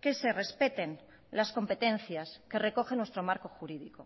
que se respeten las competencias que recogen nuestro marco jurídico